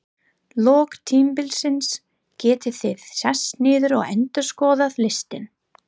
lok tímabilsins getið þið sest niður og endurskoðað listann.